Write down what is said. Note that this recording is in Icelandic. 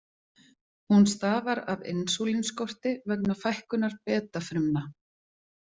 Hún stafar af insúlínskorti vegna fækkunar beta-frumna.